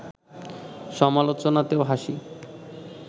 সমালোচনাতেও হাসি